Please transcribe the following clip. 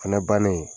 Fɛnɛ bannen